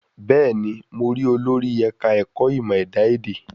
Bẹ́ẹ̀ ní, mo rí olórí ẹ̀ka ẹ̀kọ́ ìmọ ẹ̀dá èdè.